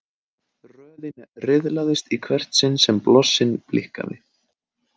Röðin riðlaðist í hvert sinn sem blossinn blikkaði.